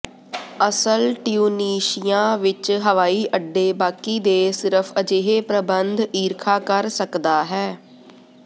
ਅਸਲ ਟਿਊਨੀਸ਼ੀਆ ਵਿੱਚ ਹਵਾਈਅੱਡੇ ਬਾਕੀ ਦੇ ਸਿਰਫ ਅਜਿਹੇ ਪ੍ਰਬੰਧ ਈਰਖਾ ਕਰ ਸਕਦਾ ਹੈ